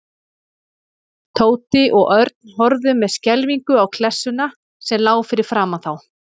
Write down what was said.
Tóti og Örn horfðu með skelfingu á klessuna sem lá fyrir framan þá.